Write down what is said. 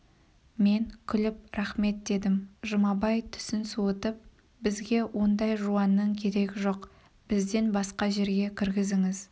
мен күліп рақмет дедім жұмабай түсін суытып бізге ондай жуанның керегі жоқ бізден басқа жерге кіргізіңіз